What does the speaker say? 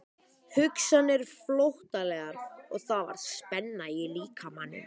Hugsanirnar flóttalegar og það var spenna í líkamanum.